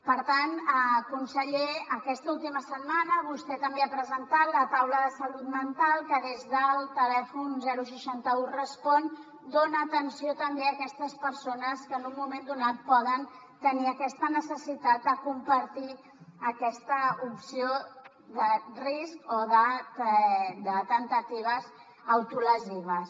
per tant conseller aquesta última setmana vostè també ha presentat la taula de salut mental que des del telèfon seixanta un respon dona atenció també a aquestes persones que en un moment donat poden tenir aquesta necessitat de compartir aquesta opció de risc o de temptatives autolesives